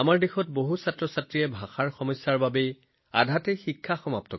আমাৰ দেশৰ বহু শিশুৱে ভাষাৰ সমস্যাৰ বাবে বিদ্যালয় এৰি দিয়ে